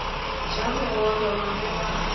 ja bogobe wa be wa